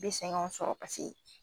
I bi seginw sɔrɔ parseke